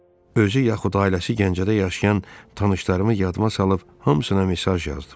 Özü yaxud ailəsi Gəncədə yaşayan tanışlarımı yadıma salıb hamısına mesaj yazdım.